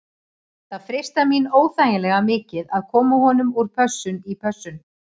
Það freistar mín óþægilega mikið að koma honum úr pössun í pössun.